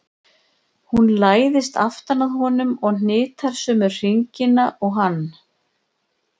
Hún læðist aftan að honum og hnitar sömu hringina og hann.